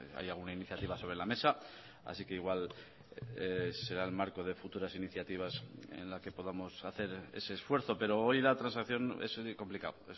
hay alguna iniciativa sobre la mesa así que igual será el marco de futuras iniciativas en la que podamos hacer ese esfuerzo pero hoy la transacción es complicado